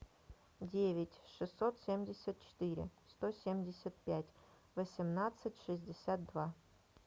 девять шестьсот семьдесят четыре сто семьдесят пять восемнадцать шестьдесят два